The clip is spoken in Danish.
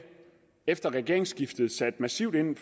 efter regeringsskiftet sat massivt ind